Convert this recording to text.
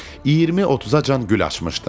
20-30-acan gül açmışdım.